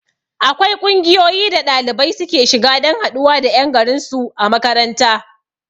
Akwai ƙungiyoyi da ɗalibai suke shiga dan haɗuwa da ƴan garin su a makaranta